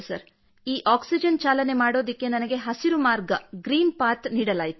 ಈ ಆಕ್ಸಿಜನ್ ಚಾಲನೆ ಮಾಡುವುದಕ್ಕೆ ನನಗೆ ಹಸಿರು ಮಾರ್ಗgreen ಪಥ್ ನೀಡಲಾಯಿತು